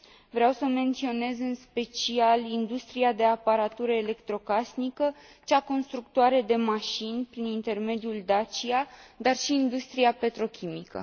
Vreau să menționez în special industria de aparatură electrocasnică, cea constructoare de mașini, prin intermediul Dacia, dar și industria petrochimică.